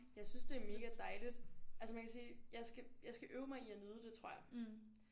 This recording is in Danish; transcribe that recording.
Jeg synes det er mega dejligt altså man kan sige jeg skal jeg skal øve mig i at nyde det tror jeg